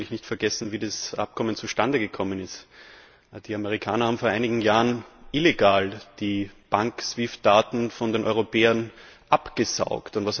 Wir sollten eigentlich nicht vergessen, wie das Abkommen zustande gekommen ist. Die Amerikaner haben vor einigen Jahren illegal die Bank SWIFT Daten von den Europäern abgesaugt.